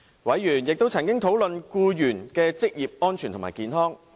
委員亦曾討論僱員的職業安全和健康。